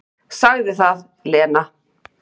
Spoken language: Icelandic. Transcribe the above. """Sagði það, Lena."""